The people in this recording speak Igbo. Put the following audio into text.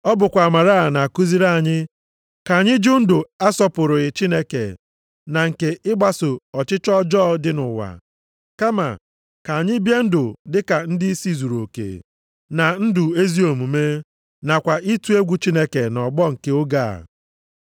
Ọ bụkwa amara a na-akụziri anyị ka anyị jụ ndụ asọpụrụghị Chineke na nke ịgbaso ọchịchọ ọjọọ dị nʼụwa, kama ka anyị bie ndụ dị ka ndịisi zuruoke na ndụ ezi omume, nakwa ịtụ egwu Chineke nʼọgbọ nke oge a.